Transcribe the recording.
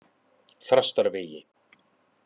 Þrastarvegi